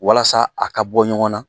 Walasa a ka bɔ ɲɔgɔn na